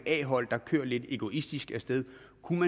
et a hold der kører lidt egoistisk af sted